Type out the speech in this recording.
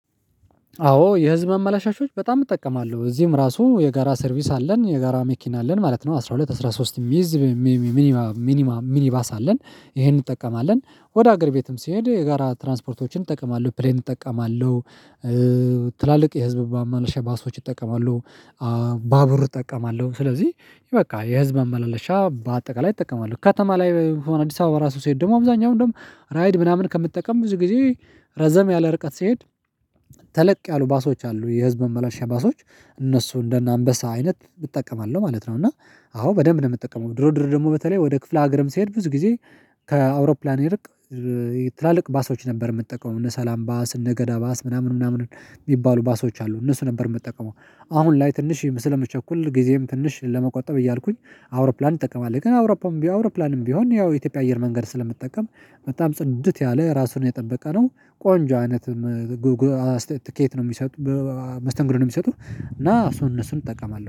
አዎ የህዝብ አመላሻሾች በጣም እጠቀማለሁ እዚህም ራሱ የጋራ ሰርቪስ አለን የጋራ መኪና አለን ማለት ነው። አስራ ሁለት አስራ ሶስት ሚዝ ሚኒማ ሚኒባስ አለን ይሄንን እንጠቀማለን ወደ ሀገር ቤትም ሲሄድ የጋራ ትራንስፖርቶችን እጠቀማለሁ ፕሌን እጠቀማለሁ ትላልቅ የህዝብ ማመልሽ ባሶች እጠቀማለው ባቡር እጠቀማለሁ። ስለዚህ በቃ የህዝብ ማመለሻ በአጠቃላይ እጠቀማለ። ከተማ ላይ አዲስ አበባ ራሱ ስሄድ ደግሞ አብዛኛው ደግሞ ራይድ ምናምን ከምጠቀም ብዙ ጊዜ ረዘም ያለ ርቀት ሲሄድ ተለቅ ያሉ ባሶች አሉ የህዝብ ማመላሻ ባሶች እነሱ እንደ አንበሳ አይነት እጠቀማለሁ ማለት ነው። እና አዎ በደንብ ነው የምጠቀመው። ድሮ ድሮ ደግሞ በተለይ ወደ ክፍለ ሀገርም ሲሄድ ብዙ ጊዜ ከአውሮፕላን ይልቅ ትላልቅ ባሶች ነበር የምትጠቀሙት እነ ሰላም ባስ እነ ገዳ ባስ ምናምን ምናምን የሚባሉ ባሶች አሉ እነሱ ነበር የምጠቀመው። አሁን ላይ ትንሽ ስለምቸኩል ጊዜም ትንሽ ለመቆጠብ እያልኩኝ አውሮፕላን እጠቀማለው። ግን አውሮፕላንም ቢሆን አውሮፕላንም ቢሆን ያው የኢትዮጵያ አየር መንገድ ስለምጠቀም በጣም ጽድት ያለ ራሱን የጠበቀ ነው። ቆንጆ አይነት ትኬት ነው መስተንግደን ነው የሚሰጡት። እና እሱን እነሱን እጠቀማለሁ